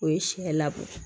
O ye siɲɛ labɔ